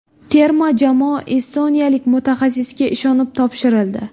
Terma jamoa estoniyalik mutaxassisga ishonib topshirildi.